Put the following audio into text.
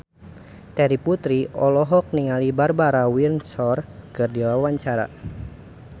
Terry Putri olohok ningali Barbara Windsor keur diwawancara